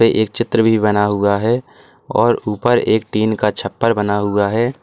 एक चित्र भी बना हुआ है और ऊपर एक टीन का छप्पर बना हुआ है।